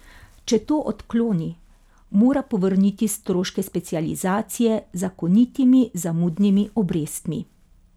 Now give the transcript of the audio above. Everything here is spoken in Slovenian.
Če to odkloni, mora povrniti stroške specializacije z zakonitimi zamudnimi obrestmi.